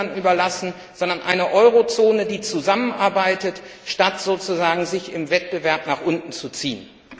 hinterlassen, sondern eine Eurozone, die zusammenarbeitet, statt sich im Wettbewerb nach unten zu ziehen.